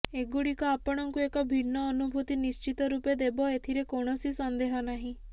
ଏଗୁଡିକ ଆପଣଙ୍କୁ ଏକ ଭିନ୍ନ ଅନୁଭୂତି ନିଶ୍ଚିତ ରୂପେ ଦେବ ଏଥିରେ କୌଣସି ସନ୍ଦେହ ନାହିଁ